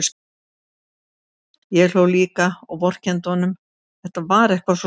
Ég hló líka og vorkenndi honum, þetta var eitthvað svo sárt.